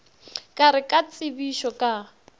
ka re ka tsebišo ka